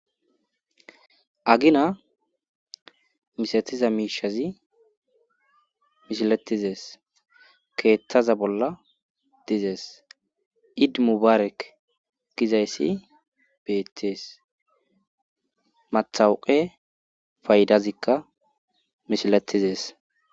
Agina misatiza miishazi mishilatizees keeththaza bolla dizees idmu barek gizayssi beettees mathawuqe faydazikka mishilatizees